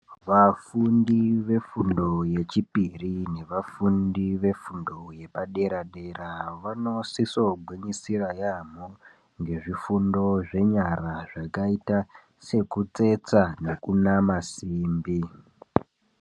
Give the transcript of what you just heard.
Vafundi vefundo yechipiri nevafundi vefundo yepadera dera vanosiso gwinyisira yaamho ngezvifundo zvenyara zvakaita sekutsetsa nekunama simbi.